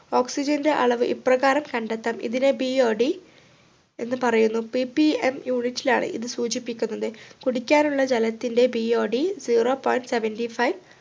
oxygen ൻ്റെ അളവ് ഇപ്രകാരം കണ്ടെത്താം ഇതിനെ BOD എന്ന് പറയുന്നു PPMunit ലാണ് ഇത് സൂചിപ്പിക്കുന്നത് കുടിക്കാനുള്ള ജലത്തിൻ്റ BODzero point seventy five